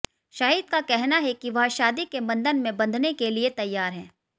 शाहिद का कहना है कि वह शादी के बंधन में बंधने के लिए तैयार हैं